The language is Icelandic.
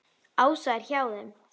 Ása er hjá þeim.